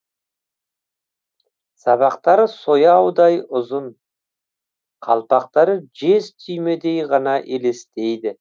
сабақтары сояудай ұзын қалпақтары жез түймедей ғана елестейді